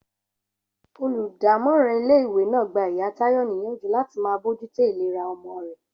Olùdámòràn ilé ìwé náà gba ìyá Táyò níyànjú láti máa bójútó ìlera omo rè